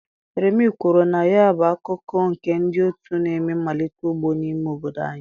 Remi kwuru na ya bụ akụkụ nke ndị otu na-eme mmalite ugbo n'ime obodo ya.